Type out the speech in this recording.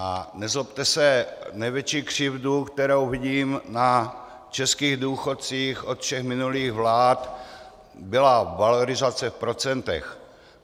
A nezlobte se, největší křivda, kterou vidím na českých důchodcích od všech minulých vlád, byla valorizace v procentech.